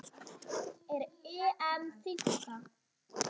Er EM þynnka?